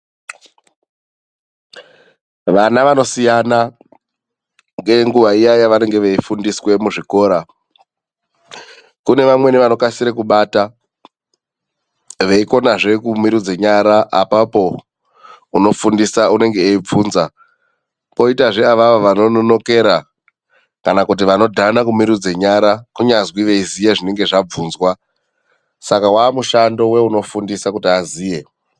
Vana vanosiyana ngenguwa iya yavanenge veifundiswe muzvikora. Kune vamweni vanokasire kubata veikonazve kumirudze nyara, apapo unofundisa unenge eibvunza, poitazve avavo vanononokera kana kuti vanodhana kumirudze nyara kunyazwi veiziva zvinenge zvabvunzwa saka wamushando weunofundisa kuti aziye.